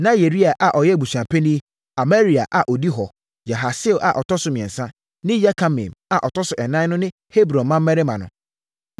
Na Yeria a ɔyɛ abusuapanin, Amaria a ɔdi hɔ, Yahasiel a ɔtɔ so mmiɛnsa ne Yekameam a ɔtɔ so ɛnan no ne Hebron mmammarima no.